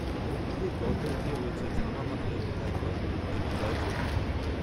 মন্দিরের গর্ভগৃহে রয়েছে ঝামা পাথরে খোদাই করা দেবী জয়চণ্ডীর মূর্তি